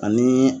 Ani